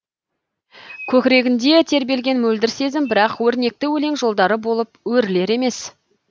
көкірегінде тербелген мөлдір сезім бірақ өрнекті өлең жолдары болып өрілер емес